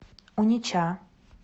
унеча